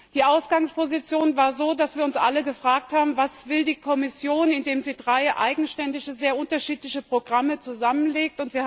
Die Ausgangsposition war so, dass wir uns alle gefragt haben Was will die Kommission, indem sie drei eigenständige, sehr unterschiedliche Programme zusammenlegt?